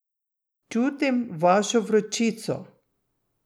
Čutim vašo vročico.